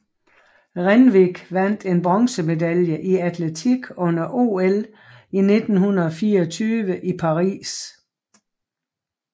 Renwick vandt en bronzemedalje i atletik under OL 1924 i Paris